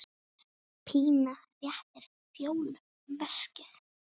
Pína réttir Fjólu veskið.